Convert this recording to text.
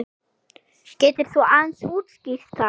Getur þú aðeins útskýrt það?